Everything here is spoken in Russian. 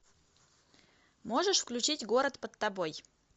можешь включить город под тобой